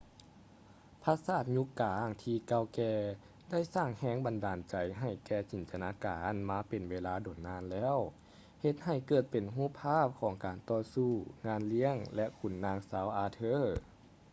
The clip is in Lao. ຜາສາດຍຸກກາງທີ່ເກົ່າແກ່ໄດ້ສ້າງແຮງບັນດານໃຈໃຫ້ແກ່ຈິນຕະນາການມາເປັນເວລາດົນນານແລ້ວ ເຮັດໃຫ້ເກີດເປັນຮູບພາບຂອງການຕໍ່ສູ້ ງານລ້ຽງ ແລະ ຂຸນນາງຊາວອາເທີ